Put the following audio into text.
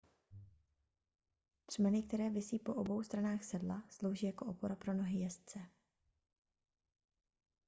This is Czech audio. třmeny které visí po obou stranách sedla slouží jako opora pro nohy jezdce